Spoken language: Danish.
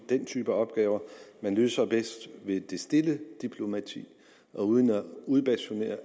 den type opgave man løser bedst ved det stille diplomati og uden at udbasunere